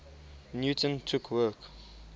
newton took work